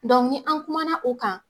ni an' kumana o kan